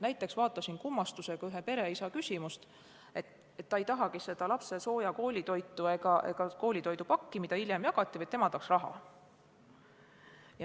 Näiteks vaatasin kummastusega ühe pereisa küsimust, et ta ei tahagi lapsele sooja koolitoitu ega koolitoidu pakki, mida hiljem jagati, vaid tema tahaks raha.